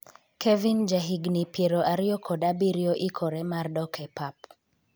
Kevin ja higni piero ariyo kod abiriyo ikore mar dok e pap